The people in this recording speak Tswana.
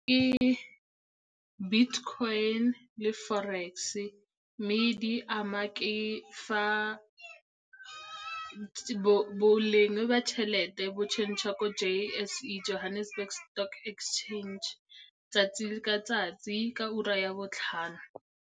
Ke bitcoin le forex, mme di ama ke fa boleng ba tšhelete bo change-a ko J_S_E, Johannesburg Stock Exchange 'tsatsi ka 'tsatsi ka ura ya botlhano.